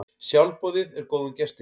Sjálfboðið er góðum gesti.